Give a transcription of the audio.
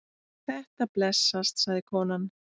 Þetta blessast, sagði konan.